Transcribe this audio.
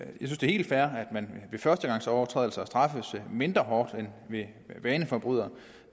helt fair at man ved førstegangsovertrædelse straffes mindre hårdt end ved vaneforbrydelse